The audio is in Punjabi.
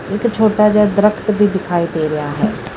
ਇੱਕ ਛੋਟਾ ਜਿਹਾ ਦਰੱਖਤ ਵੀ ਦਿਖਾਈ ਦੇ ਰਿਆ ਹੈ।